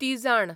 तिजाण